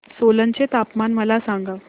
सोलन चे तापमान मला सांगा